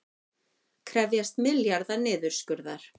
Krefjast milljarða niðurskurðar